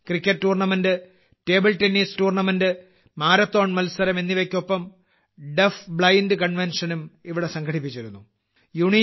cricket tournament table tennis tournament marathon മത്സരം എന്നിവയ്ക്കൊപ്പം deafblind കൺവെൻഷനും ഇവിടെ സംഘടിപ്പിച്ചിരുന്നു